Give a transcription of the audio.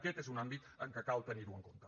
aquest és un àmbit en què cal tenir ho en compte